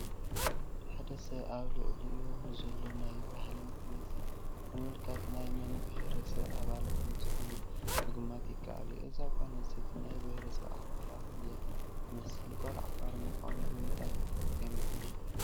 ሓደ ሰብ ኣብ ልዕሊኡ ንዘሎ ናይ ባህሊ መግለፂ ብምምልካት ናይ መን ብሄረሰብ ኣባል ከምዝኾነ ምግማት ይከኣል እዩ፡፡ እዛ ጓል ኣንስተይቲ ናይ ብሄረሰብ ዓፋር ኣባል እያ ትመስል፡፡ ጓል ዓፋር ምዃኑ ብምንታይ ገሚትና?